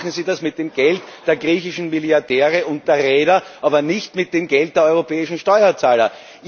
das. Aber machen Sie das mit dem Geld der griechischen Milliardäre und der Reeder, aber nicht mit dem Geld der europäischen Steuerzahler.